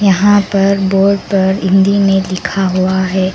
यहां पर बोर्ड पर हिंदी में लिखा हुआ है।